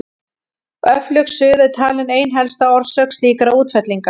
Öflug suða er talin ein helsta orsök slíkra útfellinga.